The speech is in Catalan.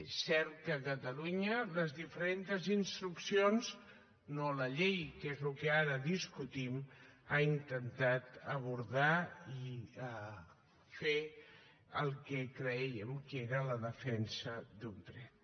és cert que a catalunya les diferentes instruccions no la llei que és el que ara discutim han intentat abordar i fer el que crèiem que era la defensa d’un dret